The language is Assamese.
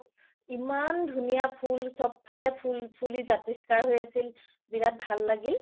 ইমান ধুনীয়া ফুল চব ফালে ফুল ফুলি জাতিস্কাৰ হৈ আছিল বিৰাত ভাল লাগিল